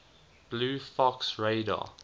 blue fox radar